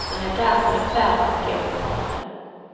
Man är därför i färd med att gå ifrån det.